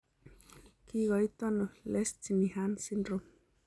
Kikoitoono Lesch Nyhan syndrome?